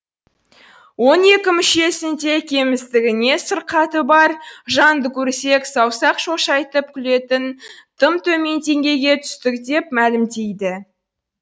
он екі мүшесінде кемістігі не сырқаты бар жанды көрсек саусақ шошайтып күлетін тым төмен деңгейге түстік деп мәлімдейді